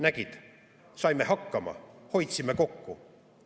Nägid, saime hakkama, hoidsime kokku!